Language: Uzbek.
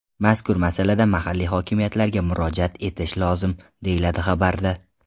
Mazkur masalada mahalliy hokimiyatlarga murojaat etish lozim”, deyiladi xabarda.